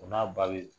O n'a ba be yen